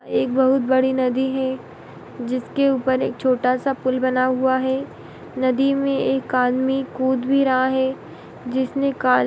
एक बोहुत बड़ी नदी है जिसके ऊपर एक छोटा सा पुल बना हुआ है | नदी में एक आदमी कूद भी रहा है जिसने का --